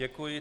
Děkuji.